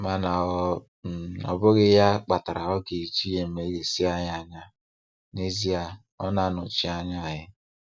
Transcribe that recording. Mana ọ um bụghị ya kpatara ọ ga-eji emeghasị anyị anya - n'ezie, ọ na-anọchi anya anyị